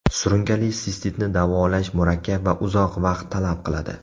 Surunkali sistitni davolash murakkab va uzoq vaqt talab qiladi.